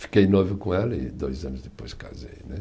Fiquei noivo com ela e dois anos depois casei né.